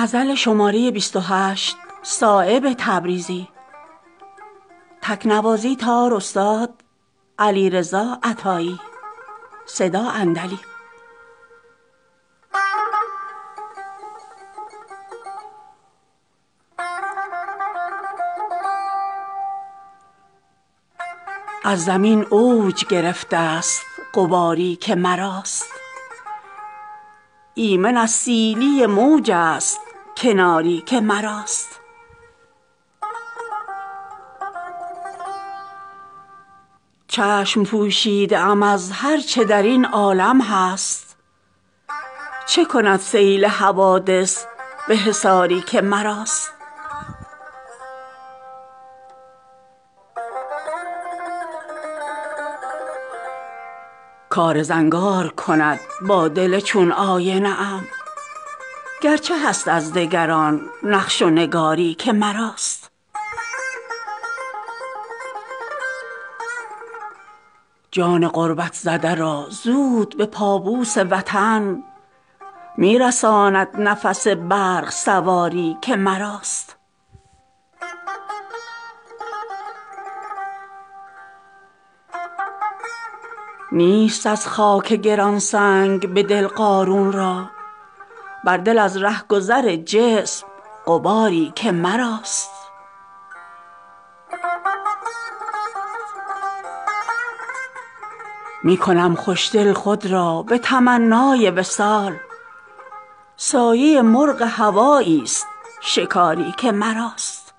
از زمین اوج گرفته است غباری که مراست ایمن از سیلی موج است کناری که مراست چشم پوشیده ام از هر چه درین عالم هست چه کند سیل حوادث به حصاری که مراست کار زنگار کند با دل چون آینه ام گرچه هست از دگران نقش و نگاری که مراست نیست ممکن که مرا پاک نسازد از عیب از سر زانوی خود آینه داری که مراست جان غربت زده را زود به پابوس وطن می رساند نفس برق سواری که مراست دارد از گلشن فردوس مرا مستغنی زیر بال و پر خود باغ و بهاری که مراست نیست از خاک گرانسنگ به دل قارون را بر دل از رهگذر جسم غباری که مراست خضر را می کند از چشمه حیوان دلسرد در سراپرده شب آب خماری که مراست ید بیضا سیهی از دل فرعون نبرد صبح روشن چه کند با شب تاری که مراست حیف و صد حیف که از قحط جگرسوختگان در دل سنگ شد افسرده شراری که مراست گل بی خار ز خار سر دیوار شکفت تا چها گل کند از بوته خاری که مراست می کنم خوش دل خود را به تمنای وصال سایه مرغ هوایی است شکاری که مراست